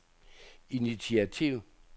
initiativ